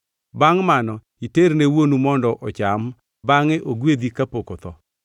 Bangʼ mano iterne wuonu mondo ocham bangʼe ogwedhi kapok otho.”